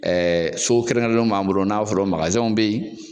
so kɛrɛnkɛrɛnlenw b'an bolo n'an b'a f'olu ma bɛ yen.